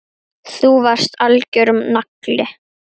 Þú varst algjör nagli.